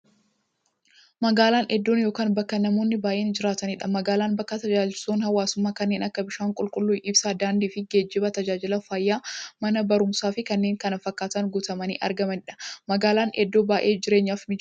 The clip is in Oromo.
Magaalan iddoo yookiin bakka namoonni baay'inaan jiraataniidha. Magaalan bakka taajajilootni hawwaasummaa kanneen akka; bishaan qulqulluu, ibsaa, daandiifi geejjiba, taajajila fayyaa, Mana baruumsaafi kanneen kana fakkatan guutamanii argamaniidha. Magaalan iddoo baay'ee jireenyaf mijattuu taateedha.